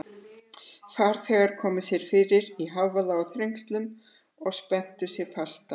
Farþegar koma sér fyrir í hávaða og þrengslum og spenna sig fasta.